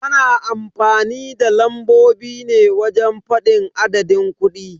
Ana amfanin da lambobi ne wajen fadin adadin kudi.